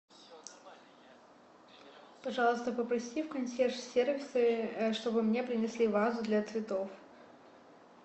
пожалуйста попроси в консьерж сервисе чтобы мне принесли вазу для цветов